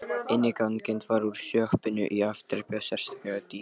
Innangengt var úr sjoppunni í afdrepið um sérstakar dyr.